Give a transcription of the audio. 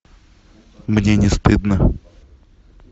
мне не стыдно